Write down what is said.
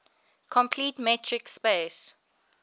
complete metric space